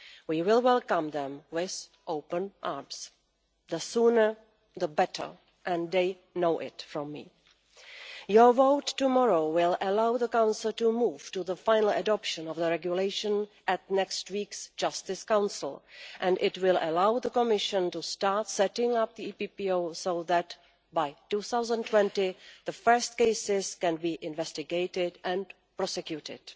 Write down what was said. We will welcome them with open arms the sooner the better, and they know it from me. Your vote tomorrow will allow the Council to move to the final adoption of the regulation at next week's Justice Council, and it will allow the Commission to start setting up the EPPO so that, by 2020, the first cases can be investigated and prosecuted.